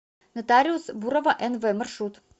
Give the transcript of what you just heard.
нотариус бурова нв маршрут